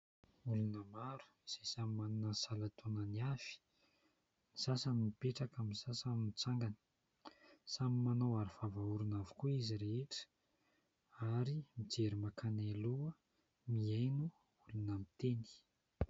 Olona maro izay samy manana ny salan-taonany avy, ny sasany mipetraka, ny sasany mitsangana. Samy manao aro vava orona avokoa izy rehetra ary mijery mankany aloha mihaino olona miteny.